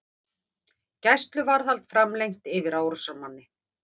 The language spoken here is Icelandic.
Gæsluvarðhald framlengt yfir árásarmanni